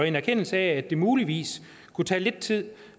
en erkendelse af at det muligvis kunne tage lidt tid